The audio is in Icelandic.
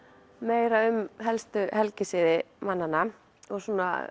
meira um helstu helgisiði mannanna og